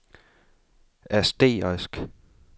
asterisk